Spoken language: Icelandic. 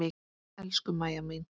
Elsku Mæja mín.